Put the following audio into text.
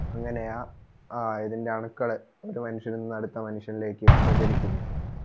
അങ്ങെനയാ ഇതിൻറ്റെ അണുക്കൾ ഒരു മനുഷ്യനിൽ നിന്ന് അടുത്ത മനുഷ്യനിലേക്ക് പ്രചരിക്കുന്നേ